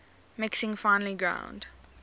mixing finely ground